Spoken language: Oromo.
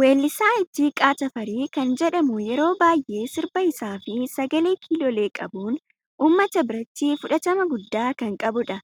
Wellisa Ittiqaa Tafarii kan jedhamu yeroo baay'ee sirba isaa fi sagalee kiloolee qabun uummata biratti fudhatama gudda kan qabudha.